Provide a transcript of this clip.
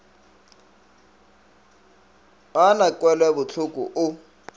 ga a na kwelobohloko o